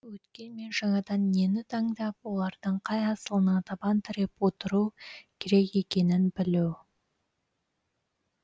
өткен мен жаңадан нені таңдап олардың қай асылына табан тіреп отыру керек екенін білу